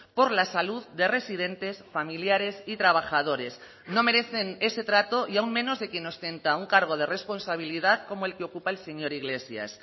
por la salud de residentes familiares y trabajadores no merecen ese trato y aun menos de quien ostenta un cargo de responsabilidad como el que ocupa el señor iglesias